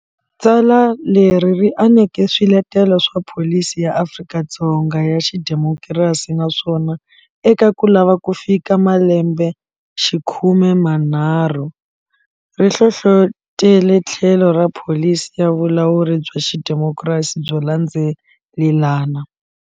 Tsala leri ri aneke swiletelo swa pholisi ya Afrika-Dzonga ya xidemokirasi naswona, eka ku lava ku fika malembe xikhume manharhu, ri hlohlotele tlhelo ra pholisi ya vulawuri bya xidemokirasi byo landzelelana.